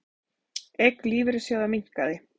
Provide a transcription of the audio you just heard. Eign lífeyrissjóða minnkaði